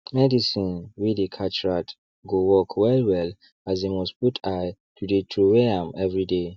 medicine wey dey catch rat go work well well as dey must put eye to dey throway am everyday